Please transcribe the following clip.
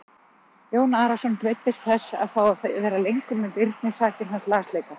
Jón Arason beiddist þess að fá að vera lengur með Birni sakir hans lasleika.